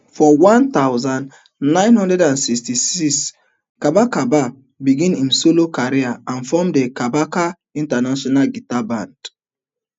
for one thousand, nine hundred and sixty-six kabaka begin im solo career and form the kabaka international guitar band